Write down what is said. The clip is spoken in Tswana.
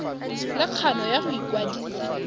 le kgano ya go ikwadisa